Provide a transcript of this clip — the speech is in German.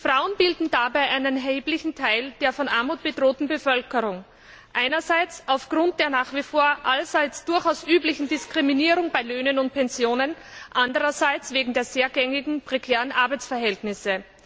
Frauen bilden dabei einen erheblichen Teil der von Armut bedrohten Bevölkerung, einerseits aufgrund der nach wie vor allseits durchaus üblichen Diskriminierung bei Löhnen und Pensionen, andererseits wegen der sehr gängigen prekären Arbeitsverhältnisse.